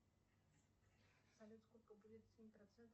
салют сколько будет семь процентов